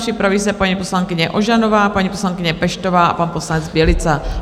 Připraví se paní poslankyně Ožanová, paní poslankyně Peštová a pan poslanec Bělica.